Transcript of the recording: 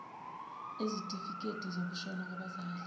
ezitifiketi zokushona kwabazali